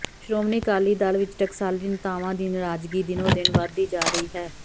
ਸ਼੍ਰੋਮਣੀ ਅਕਾਲੀ ਦਲ ਵਿਚ ਟਕਸਾਲੀ ਨੇਤਾਵਾਂ ਦੀ ਨਰਾਜ਼ਗੀ ਦਿਨੋਂ ਦਿਨ ਵਧਦੀ ਜਾ ਰਹੀ ਹੈ